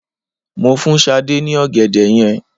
Mo fún Sade ní ọ̀gẹ̀dẹ̀ yẹn